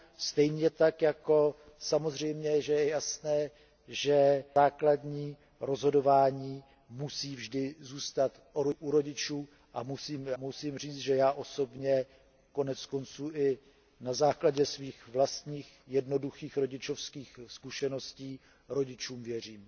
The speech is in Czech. Stejně tak je samozřejmě jasné, že základní rozhodování musí vždy zůstat u rodičů a musím říci, že já osobně, konec konců i na základě svých vlastních jednoduchých rodičovských zkušeností, rodičům věřím.